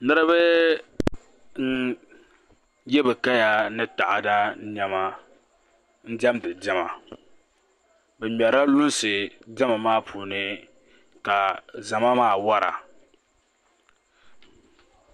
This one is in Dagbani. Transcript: Niraba n yɛ bi kaya ni taada niɛma n diɛmdi diɛma bi ŋmɛrila lunsi diɛma maa puuni ka zama maa wora